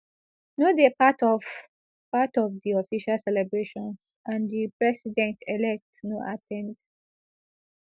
no dey part of part of di official celebrations and di presidentelect no at ten d